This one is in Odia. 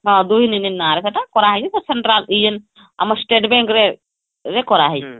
ହଁ ଦୁଇ ନିନି ନାଁ ରେ ସେଟା କରା ହେଇଛିସେଟା central ଇଏ ଆମ state bank ରେ ସେଟା କରା ହେଇଛି